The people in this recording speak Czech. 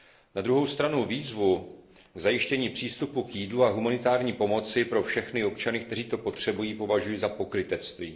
Na druhou stranu výzvu k zajištění přístupu k jídlu a k humanitární pomoci pro všechny občany, kteří to potřebují, považuji za pokrytectví.